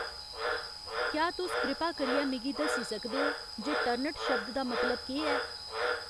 क्या तुस कृपा करियै मिगी दस्सी सकदे ओ जे टर्नट शब्द दा मतलब केह् ऐ